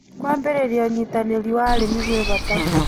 Kũambĩrĩrĩa ũnyĩtanĩrĩ wa arĩmĩ gwĩ bata